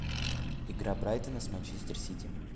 игра брайтона с манчестер сити